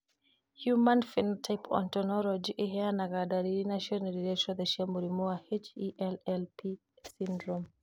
Human Phenotype Ontology ĩheanaga ndariri na cionereria ciothe cia mũrimũ wa HELLP syndrome.